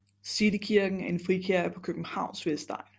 City Kirken er en frikirke på Københavns vestegn